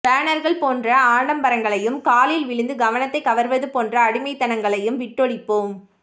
பேனர்கள் போன்ற ஆடம்பரங்களையும் காலில் விழுந்து கவனத்தைக் கவர்வது போன்ற அடிமைத்தனங்களையும் விட்டொழிப்போம்